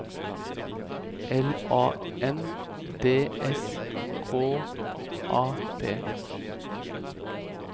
L A N D S K A P